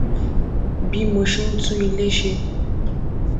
bí mo ṣe ń tún ilé ṣe